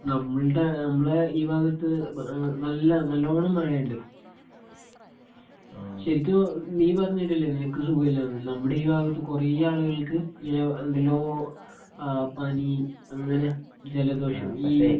നമ്മളുടെ നമ്മളെ ഈ ഭാഗത്ത് നല്ല നല്ലോണം മഴയുണ്ട്. ശരിക്കും നീ പറഞ്ഞില്ലേ നിനക്ക് സുഖമില്ല എന്ന് ഇവിടെ ഈ ഭാഗത്ത് കുറെ ആളുകൾക്ക് ഇങ്ങനെ എന്തെല്ലോ ആ പനി അങ്ങനെ ജലദോഷം ഈ